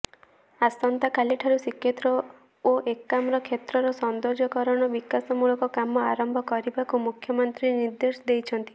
ଆସନ୍ତାକାଲି ଠାରୁ ଶ୍ରୀକ୍ଷେତ୍ର ଓ ଏକାମ୍ରକ୍ଷେତ୍ରର ସୌନ୍ଦର୍ଯ୍ୟକରଣ ବିକାଶମୂଳକ କାମ ଆରମ୍ଭ କରିବାକୁ ମୁଖ୍ୟମନ୍ତ୍ରୀ ନିର୍ଦ୍ଦେଶ ଦେଇଛନ୍ତି